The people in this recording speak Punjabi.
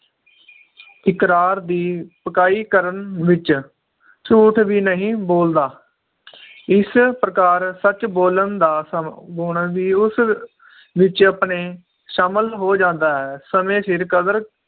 ਇਕਰਾਰ ਦੀ ਪਕਾਈ ਕਰਨ ਵਿਚ ਝੂਠ ਵੀ ਨਹੀਂ ਬੋਲਦਾ ਇਸ ਪ੍ਰਕਾਰ ਸੱਚ ਬੋਲਣ ਦਾ ਸਵ ਗੁਣ ਵੀ ਉਸ ਵਿਚ ਆਪਣੇ ਸ਼ਾਮਿਲ ਹੋ ਜਾਂਦਾ ਹੈ ਸਮੇ ਸਿਰ ਕਦਰ